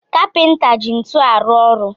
Kapinta ji ntu arụ ọrụ